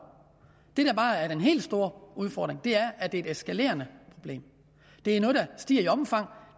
det der bare er den helt store udfordring er at det er et eskalerende problem det er noget der stiger i omfang